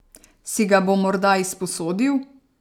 Si ga bo morda izposodil?